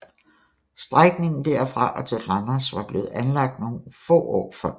Strækningen derfra og til Randers var blevet anlagt nogle få år før